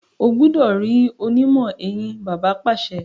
o gbúdọ̀ rí onímọ̀-eyín! bàbá pàṣẹ.